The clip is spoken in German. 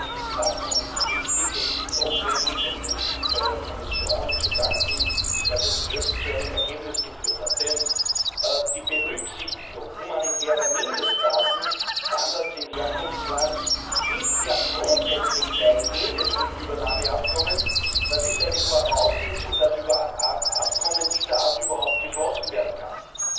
Dieses Abkommen ist richtig, es ist notwendig, und es ist der Kommission zu danken, dass es jetzt zu einem Ergebnis geführt hat. Die Berücksichtigung humanitärer Mindeststandards im Herkunftsland ist ja grundsätzlich Teil jedes Rückübernahmeabkommens. Das ist eine Voraussetzung dafür, dass Abkommen dieser Art überhaupt geschlossen werden können.